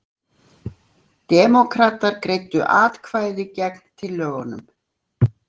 Demókratar greiddu atkvæði gegn tillögunum